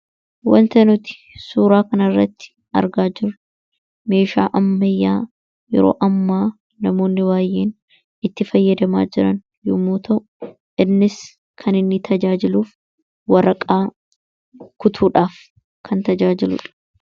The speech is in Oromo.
Wanta nuti suuraa kanarratti argaa jirru meeshaa ammayyaa yeroo ammaa namoonni baay'een itti fayyadamaa jiran yomuu ta'u, innis kan inni tajaajiluuf waraqaa kutuudhaaf kan tajaajiludha.